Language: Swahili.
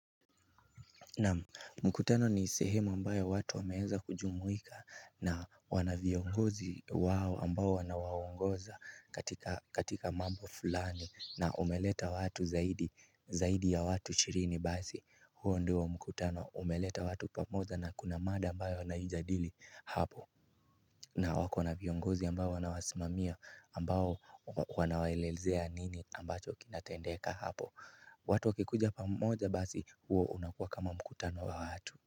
Na mkutano ni sehemu ambayo watu wameeza kujumuika na wanaviongozi wao ambayo wanawaongoza katika mambo fulani na umeleta watu zaidi ya watu ishirini basi huo ndio mkutano umeleta watu pamoja na kuna mada ambayo wanaijadili hapo na wako na viongozi ambao wanawasimamia ambao wanawaelezea nini ambacho kinatendeka hapo watu wakikuja pa mmoja basi huo unakuwa kama mkutano wa watu.